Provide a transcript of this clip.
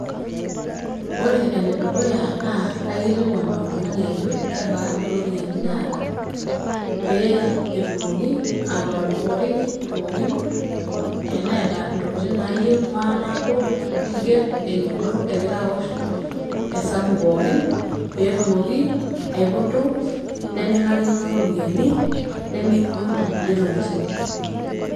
Ore ene dukuya naa kaikilkwan oltungani ajo kebaaa iropiyiani naata pee etumoki otoworioriki pookin. teneeta ntokitin naayieu maanabo niger eyieolo egira aosh hesabu pookin petumoki aiputu nemingarikino iropiyiani nemingwaa nkulie tokitin.